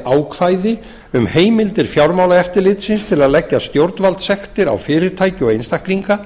á fjármálamarkaði ákvæði um heimildir fjármálaeftirlitsins til að leggja stjórnvaldssektir á fyrirtæki og einstaklinga